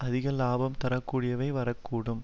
அதிக இலாபம் தரக்கூடியவையாக வரக்கூடும்